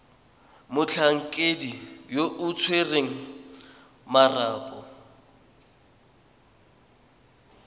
motlhankedi yo o tshwereng marapo